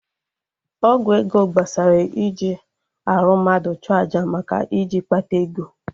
Ọgwụ ego gbasara iji arụ mmadụ chụọ aja maka iji kpata ego